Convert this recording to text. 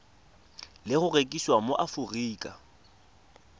le go rekisiwa mo aforika